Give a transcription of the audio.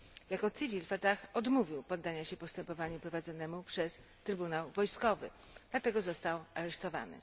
Jako cywil Fatah odmówił poddania się postępowaniu prowadzonemu przez trybunał wojskowy, dlatego został aresztowany.